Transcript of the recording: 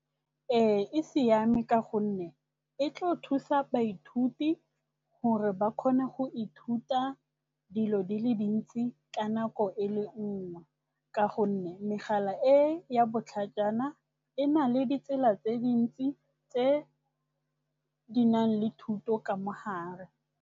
Ee, e siame ka gonne e tlo thusa baithuti gore ba kgone go ithuta dilo di le dintsi ka nako e le nngwe ka gonne megala e ya botlhajana e na le ditsela tse dintsi tse di nang le thuto ka mo gare.